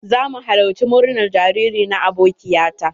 Za mu halarci murnar jariri na abokiya ta.